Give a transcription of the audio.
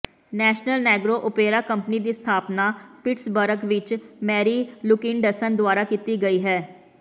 national negro opera company ਦੀ ਸਥਾਪਨਾ Pittsburgh ਵਿੱਚ ਮੈਰੀ ਲੁਕਿਨਡਸਨ ਦੁਆਰਾ ਕੀਤੀ ਗਈ ਹੈ